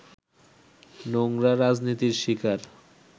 নোংরা রাজনীতির শিকার